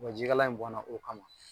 Wa ji kalan in bɔnna k'o kama